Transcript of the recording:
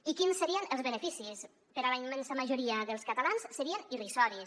i quins serien els beneficis per a la immensa majoria dels catalans serien irrisoris